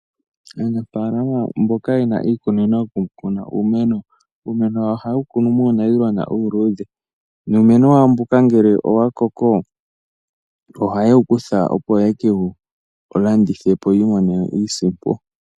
Aanafaalama mboka yena iikunino yoku kuna uumeno, uumeno wawo ohaye wu kunu muunayilona uuludhe, nuumeno wawo mbuka ngele owa koko, ohaye wu kutha opo yeke wu landithepo po yiimonene iisimpo.